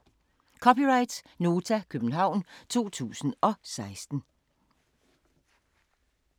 (c) Nota, København 2016